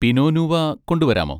Pino noir കൊണ്ടുവരാമോ?